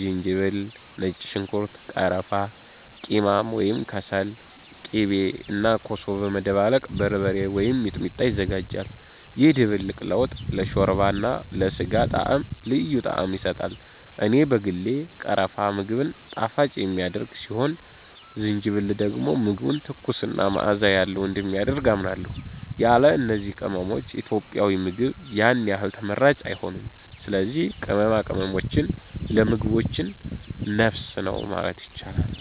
ዝንጅብል፣ ነጭ ሽንኩርት፣ ቀረፋ፣ ቂማም (ከሰል)፣ ቂቤ እና ኮሶ በመደባለቅ “በርበሬ” ወይም “ሚጥሚጣ” ይዘጋጃል። ይህ ድብልቅ ለወጥ፣ ለሾርባ እና ለስጋ ጣዕም ልዩ ጣዕም ይሰጣል። እኔ በግሌ ቀረፋ ምግብን ጣፋጭ የሚያደርግ ሲሆን ዝንጅብል ደግሞ ምግቡን ትኩስ እና መዓዛ ያለው እንደሚያደርግ አምናለሁ። ያለ እነዚህ ቅመሞች ኢትዮጵያዊ ምግብ ያን ያህል ተመራጭ አይሆንም። ስለዚህ ቅመማ ቅመማችን ለምግባችን ነፍስ ነው ማለት ይቻላል።